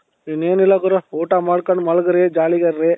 ಇನ್ನೇನಿಲ್ಲ ಗುರು ಊಟ ಮಾಡ್ಕೊಂಡು ಮಲಗಿರಿ jollyಗ ಇರ್ರಿ